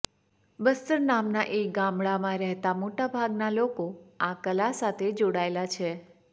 બસ્તર નામના એક ગામડાંમાં રહેતા મોટા ભાગના લોકો આ કલા સાથે જોડાયેલા છે